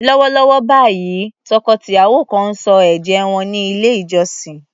Lọ́wọ́lọ́wọ́ báyìí, tọkọ-tìyàwó kan ń sọ ẹ̀jẹ́ wọn ní ilé-ìjọsìn.